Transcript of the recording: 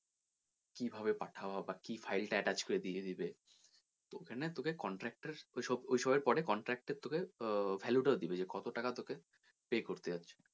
কীভাবে পাথাও বা কী file টা attach করে দিয়ে দেবে তো ওখানে তোকে contract এর ওইসবের পরে contract এর তোকে আহ value টাও দিবে যে কত টাকা তোকে pay করতে যাচ্ছে।